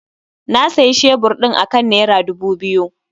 Na sayi shebur ɗin akan nera dubu biyu